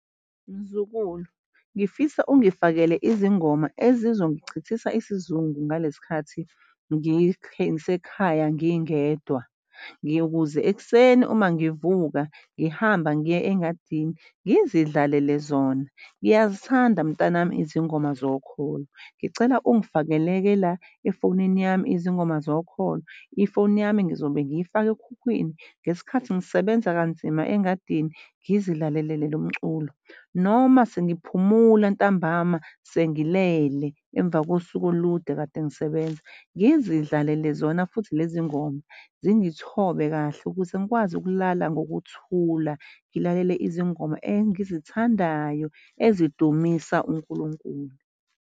Mzukulu, ngifisa ungifakele izingoma ezizongichithisa isizungu ngalesi ngisekhaya ngingedwa ukuze ekuseni uma ngivuka ngihambe ngiye engadini ngizidlalele zona, ngiyazithanda mntanami izingoma zokholo. Ngicela ungifakele-ke la efonini yami, izingoma zokholo. Ifoni yami ngizobe ngiyifake ekhukhwini ngesikhathi ngisebenza kanzima engadini, ngizilalelele lo mculo noma sengiphumula ntambama sengilele emva kosuku olude kade ngisebenza ngizidlalelele zona futhi lezi ngoma zingithobe kahle ukuze ngikwazi ukulala ngokuthula, ngilalele izingoma engizithandayo ezidumisa uNkulunkulu.